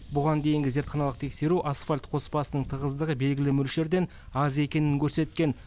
бұған дейінгі зертханалық тексеру асфальт қоспасының тығыздығы белгілі мөлшерден аз екенін көрсеткен